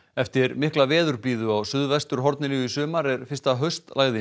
eftir mikla veðurblíðu á suðvesturhorninu í sumar er fyrsta